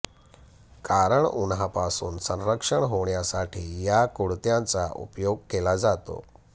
कारण उन्हापासून संरक्षण होण्यासाठी या कुडत्यांचा उपयोग केला जातो